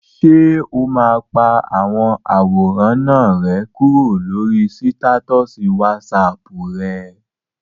Ṣé o máa pa àwọn àwòrán náà rẹ́ kúrò lórí sítátọ̀sì wásaàpù rẹ?